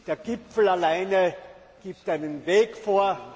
Der Gipfel allein gibt einen Weg vor.